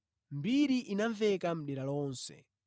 Mbiriyi inamveka mʼdera lonse.